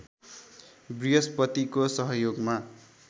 बृहस्पतिको सहयोगमा